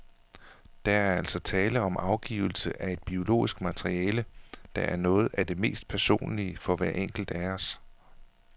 Der er altså tale om afgivelse af et biologisk materiale, der er noget af det mest personlige for hver enkelt af os.